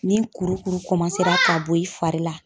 Ni kurukuru ra ka bɔ i fari la